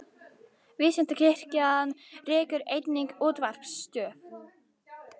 Vísindakirkjan rekur einnig útvarpsstöð.